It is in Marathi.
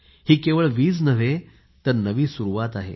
हि केवळ वीज नव्हे तर नवी सुरवात आहे